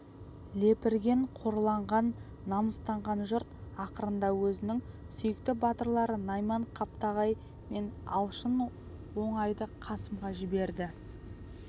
лепірген қорланған намыстанған жұрт ақырында өзінің сүйікті батырлары найман қаптағай мен алшын оңайды қасымға жіберді